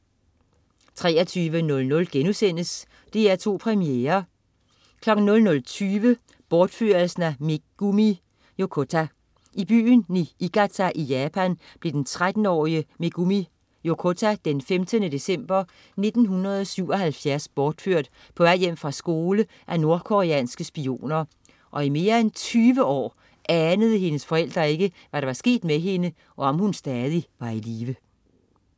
23.00 DR2 Premiere* 00.20 Bortførelsen af Megumi Yokota. I byen Niigita i Japan blev den 13-årige Megumi Yokota den 15. november 1977 bortført på vej hjem fra skole af nordkoreanske spioner, og i mere end tyve år anede hendes forældre ikke, hvad der var sket med hende, og om hun stadig var i live